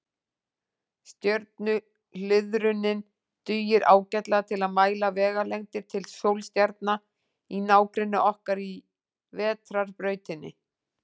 Stjörnuhliðrunin dugir ágætlega til að mæla vegalengdir til sólstjarna í nágrenni okkar í Vetrarbrautinni.